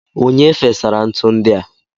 Onye fesara ntu ndi a?